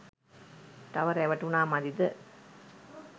තව රැවටුනා මදිද?